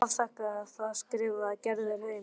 En ég afþakkaði það, skrifar Gerður heim.